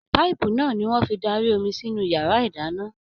Paipu náà ní wọn fí darí omi sinú yàrá ìdáná.